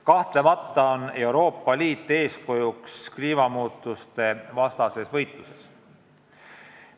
Kahtlemata on Euroopa Liit eeskujuks kliimamuutuste vastu peetavas võitluses.